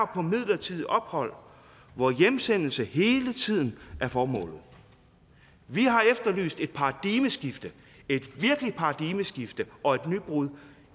på midlertidigt ophold hvor hjemsendelse hele tiden er formålet vi har efterlyst et paradigmeskifte et virkeligt paradigmeskifte og et nybrud